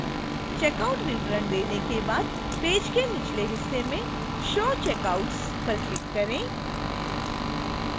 checkout विवरण देखने के बाद पेज के निचले हिस्से में show checkouts पर click करें